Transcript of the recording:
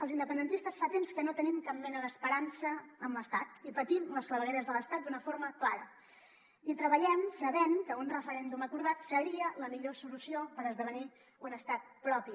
els independentistes fa temps que no tenim cap mena d’esperança en l’estat i patim les clavegueres de l’estat d’una forma clara i treballem sabent que un referèndum acordat seria la millor solució per esdevenir un estat propi